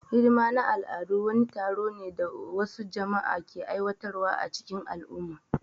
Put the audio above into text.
Hidima na al'adu wani taro ne da wasu jama'a ke aiwatar wa a cikin al'umma